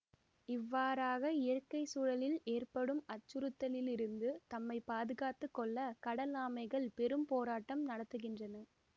இவ்வாறாக இயற்கைச்சூழலில் ஏற்படும் அச்சுறுத்தலிலில் இருந்து தம்மை பாதுகாத்து கொள்ள கடல் ஆமைகள் பெரும் போராட்டம் நடத்துகின்றன